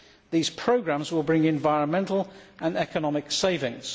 These programmes will bring environmental and economic savings.